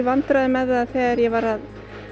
vandræðum með það þegar ég var að